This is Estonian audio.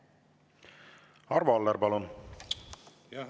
Arvo Aller, palun!